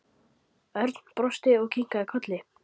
Örn brosti og kinkaði kolli.